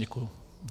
Děkuji.